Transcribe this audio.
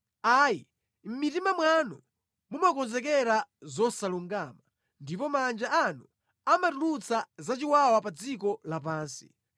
Ayi, mʼmitima mwanu mumakonzekera zosalungama, ndipo manja anu amatulutsa zachiwawa pa dziko lapansi.